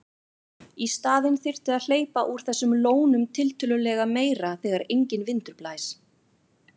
Í staðinn þyrfti að hleypa úr þessum lónum tiltölulega meira þegar enginn vindur blæs.